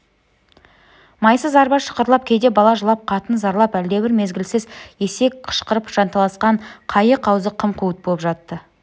майсыз арба шықырлап кейде бала жылап қатын зарлап әлдебір мезгілсіз есек қышқырып жанталасқан қайық аузы қым-қуыт боп жатты